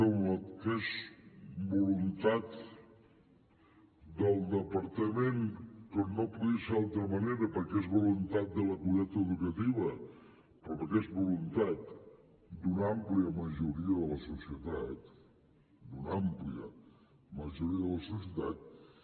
que és voluntat del departament com no podia ser d’altra manera perquè és voluntat de la comunitat educativa però que és voluntat d’una àmplia majoria de la societat d’una àmplia majoria de la societat